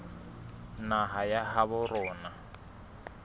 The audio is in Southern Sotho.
naha ya habo rona e